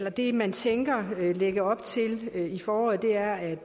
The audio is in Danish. at det man tænker at lægge op til i foråret er